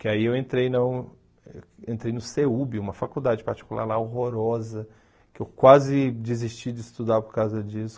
que aí eu entrei na entrei no CEUB, uma faculdade particular lá, horrorosa, que eu quase desisti de estudar por causa disso.